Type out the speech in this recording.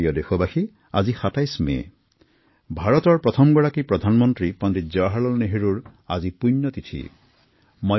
মোৰ মৰমৰ দেশবাসী আজি ২৭ মেদেশৰ প্ৰথম প্ৰধানমন্ত্ৰী পণ্ডিত জৱাহৰলাল নেহৰুৰ মৃত্যু বাৰ্ষিকী